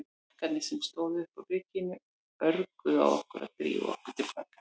Krakkarnir sem stóðu uppi á bryggjunni örguðu á okkur að drífa okkur til baka.